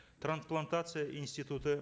трансплантация институты